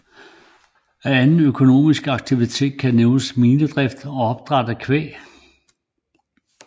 Af anden økonomisk aktivitet kan nævnes minedrift og opdræt af kvæg